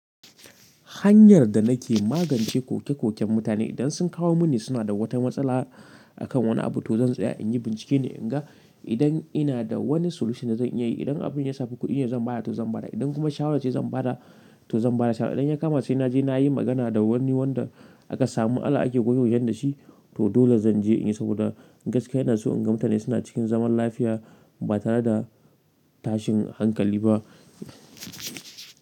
Hanyar da nake magance koke-koken mutane idan sun kawo mini suna da wata matsala akan wani abu, to zan tsaya in yi bincike ne, in ga idan ina da wani solution da zan iya yi. Idan abin ya samu kuɗi ne zan ba da, to zan ba da. Idan kuma shawara ce zan ba da, to zan ba da shawara. Idan ya kama sai na je na yi magana da wani wanda aka samu Allah ake goyo yan da shi, to dole zan je in yi saboda gaskiya ina so in ga mutane suna cikin zaman lafiya ba tare da tashin hankali ba.